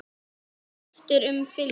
Þú skiptir um filmu!